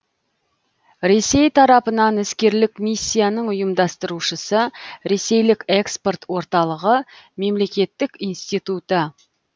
ресей тарапынан іскерлік миссияның ұйымдастырушысы ресейлік экспорт орталығы мемлекеттік институты